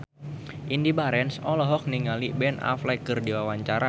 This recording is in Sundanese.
Indy Barens olohok ningali Ben Affleck keur diwawancara